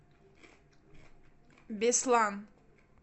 беслан